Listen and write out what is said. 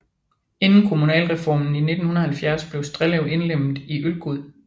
Inden kommunalreformen i 1970 blev Strellev indlemmet i Ølgod